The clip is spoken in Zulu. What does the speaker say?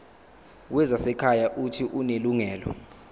wezasekhaya uuthi unelungelo